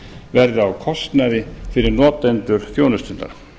verði á kostnaði fyrir notendur þjónustunnar